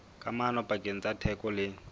kamano pakeng tsa theko le